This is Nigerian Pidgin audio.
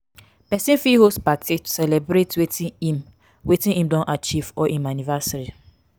persin fit host party to celebrate wetin im wetin im don achieve or im anniversary